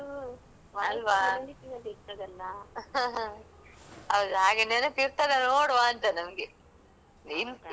ಹ ಹೌದ್ ಹಾಗೆ ನೆನಪ್ ಇರ್ತದ ನೋಡುವಾ ಅಂತ ನಮ್ಗೆ ಇನ್ ಇರ್ತದಲ್ವಾ ಉಂಟಲ್ವಾ ಅದು ಖುಷ್ಯಾತ್‌ ನಂಗೆ.